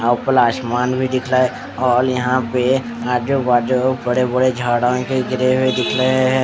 अह ऊपर आसमान भी दिख रहा है और यहाँ पे आजू बाजू बड़े बड़े झाड़ा भी गिरे हुए दिख रहे है ।